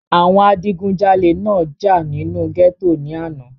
àwọn adigúnjalè náà jà nínú gẹ́tò ní àná